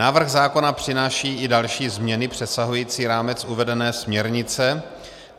Návrh zákona přináší i další změny přesahující rámec uvedené směrnice.